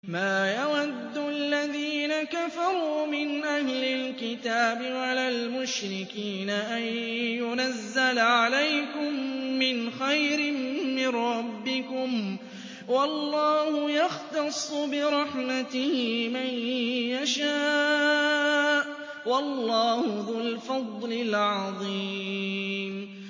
مَّا يَوَدُّ الَّذِينَ كَفَرُوا مِنْ أَهْلِ الْكِتَابِ وَلَا الْمُشْرِكِينَ أَن يُنَزَّلَ عَلَيْكُم مِّنْ خَيْرٍ مِّن رَّبِّكُمْ ۗ وَاللَّهُ يَخْتَصُّ بِرَحْمَتِهِ مَن يَشَاءُ ۚ وَاللَّهُ ذُو الْفَضْلِ الْعَظِيمِ